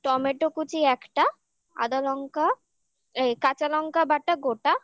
tomato কুচি একটা আদা লঙ্কা এই কাঁচা লঙ্কা বাটা গোটা